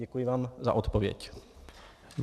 Děkuji vám za odpověď.